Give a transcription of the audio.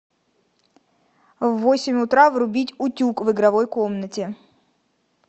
в восемь утра врубить утюг в игровой комнате